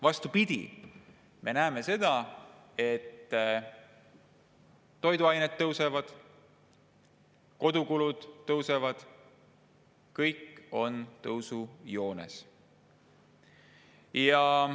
Vastupidi, me näeme seda, et toiduainete hinnad tõusevad, kodukulud tõusevad ja kõik on tõusujoones.